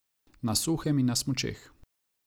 Na suhem in na smučeh.